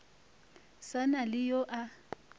sa na le yo a